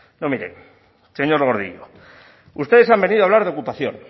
no mire señor gordillo ustedes han venido a hablar de ocupación